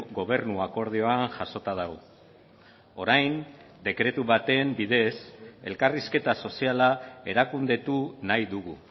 gobernu akordioan jasota dago orain dekretu baten bidez elkarrizketa soziala erakundetu nahi dugu